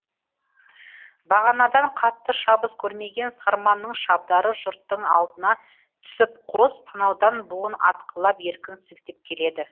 бағанадан қатты шабыс көрмеген сарманның шабдары жұрттың алдына түсіп қос танаудан буын атқылап еркін сілтеп келеді